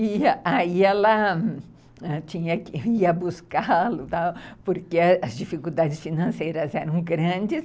E aí ela, tinha ia buscá-lo, porque as dificuldades financeiras eram grandes.